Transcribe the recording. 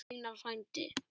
Einar frændi.